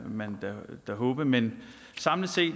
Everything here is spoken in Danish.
man da håbe men samlet set